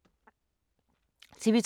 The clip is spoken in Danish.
TV 2